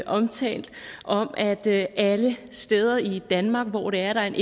omtalt om at alle de steder i danmark hvor der er en